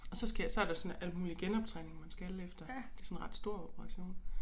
Og så skal jeg så der sådan alt muligt genoptræning man skal efter det sådan ret stor operation